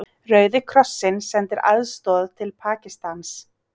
Rauði krossinn sendir aðstoð til Pakistans